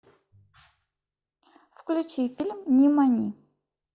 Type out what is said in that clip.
включи фильм нимани